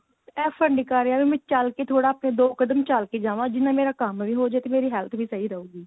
effort ਨਹੀਂ ਕ਼ਰ ਰਿਹਾ ਵੀ ਮੈਂ ਚੱਲ ਕੇ ਥੋੜਾ ਆਪਣੇ ਦੋ ਕਦਮ ਚੱਲ ਕੇ ਜਾਵਾਂ ਜਿਵੇਂ ਮੇਰਾ ਕੰਮ ਵੀ ਹੋਜੇ ਤੇ ਮੇਰੀ health ਵੀ ਸਹੀ ਰਹੂਗੀ